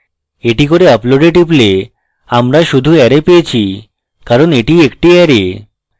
that করে আপলোডে টিপলে আমরা শুধু array পেয়েছি কারণ that একটি অ্যারে